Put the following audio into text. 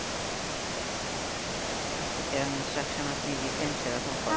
আচ্ছা যেরকম intaction আপনি দিতেন সেরকম follow